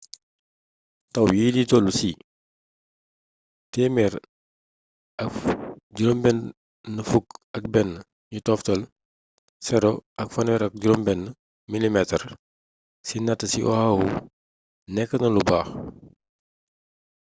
taw yi di tollu ci 161,036 mm ci natt ci oahu nékkna lu baax''